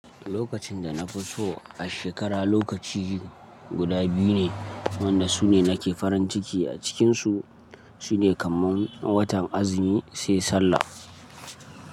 Lokacin da na fi so a shekara lokaci guda biyu ne wanda su ne nake farin ciki a cikinsu su ne kaman watan Azumi sai Sallah.